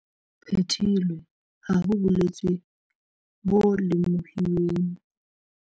Phethilwe, ha ho bolwetse bo lemohuweng.